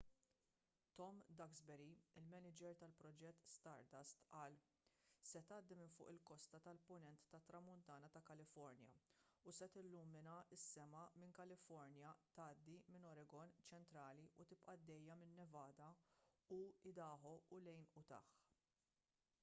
tom duxbury il-maniġer tal-proġett stardust qal se tgħaddi minn fuq il-kosta tal-punent tat-tramuntana ta' kalifornja u se tillumina s-sema minn kalifornja tgħaddi minn oregon ċentrali u tibqa' għaddejja minn nevada u idaho u lejn utah